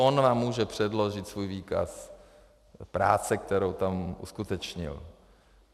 On vám může předložit svůj výkaz práce, kterou tam uskutečnil.